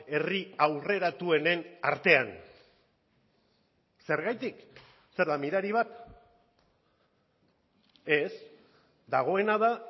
herri aurreratuenen artean zergatik zer da mirari bat ez dagoena da